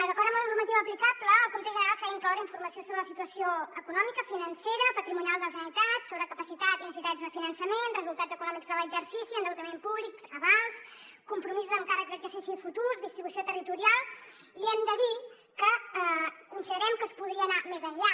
d’acord amb la normativa aplicable al compte general s’ha d’incloure informació sobre la situació econòmica financera patrimonial de la generalitat sobre capacitat i necessitats de finançament resultats econòmics de l’exercici endeutament públic avals compromisos amb càrrecs a exercicis futurs distribució territorial i hem de dir que considerem que es podria anar més enllà